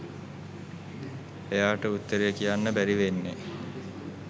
එයාට උත්තරේ කියන්න බැරි වෙන්නේ